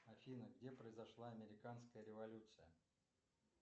афина где произошла американская революция